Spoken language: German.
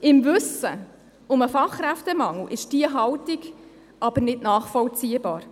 Im Wissen um den Fachkräftemangel ist diese Haltung aber nicht nachvollziehbar.